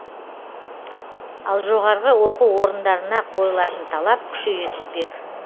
ал жоғарғы оқу орындарына қойылатын талап күшейе түспек